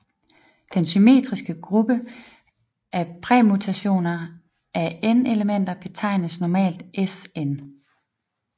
Den symmetriske gruppe af permutationer af n elementer betegnes normalt Sn